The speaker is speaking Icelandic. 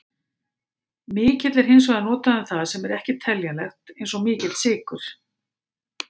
Mikill er hins vegar notað um það sem ekki er teljanlegt, eins og mikill sykur.